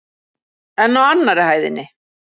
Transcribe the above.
En á annarri hæðinni?